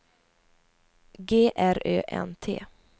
G R Ö N T